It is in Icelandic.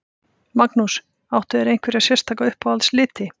Magnús: Áttu þér einhverja sérstaka uppáhalds liti?